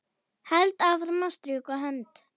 Held áfram að strjúka hönd